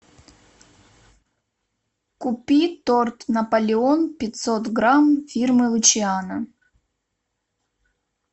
купи торт наполеон пятьсот грамм фирмы лучиано